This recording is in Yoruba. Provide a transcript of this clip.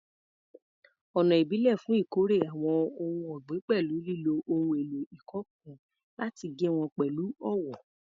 Ọ̀nà ìbílẹ̀ fún ìkórè àwọn ohun ọ̀gbìn pẹ̀lú lílo ohun èlò ìkọ́ nǹkan láti gé wọn pẹ̀lú ọwọ́